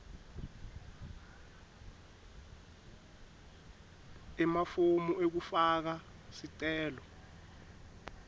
emafomu ekufaka sicelo